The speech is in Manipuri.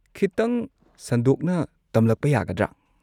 ꯈꯤꯇꯪ ꯁꯟꯗꯣꯛꯅ ꯇꯝꯂꯛꯄ ꯌꯥꯒꯗ꯭ꯔꯥ?